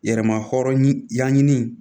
Yɛrɛma hɔrɔn y'an ɲini